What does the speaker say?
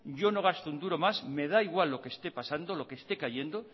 yo no gasto un duro más me da igual lo que esté pasando lo que esté cayendo